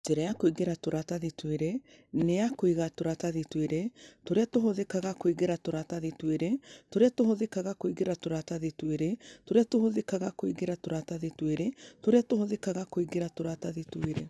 Njĩra ya kũingĩra tũratathi twĩrĩ nĩ ya kũiga tũratathi twĩrĩ tũrĩa tũhũthĩkaga kũingĩra tũratathi twĩrĩ tũrĩa tũhũthĩkaga kũingĩra tũratathi twĩrĩ tũrĩa tũhũthĩkaga kũingĩra tũratathi twĩrĩ tũrĩa tũhũthĩkaga kũingĩra tũratathi twĩrĩ.